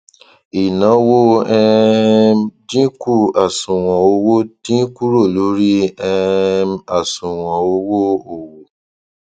ìnáwó um dínkù àṣùwọn owó dín kúrò lórí um àṣùwọn owó òwò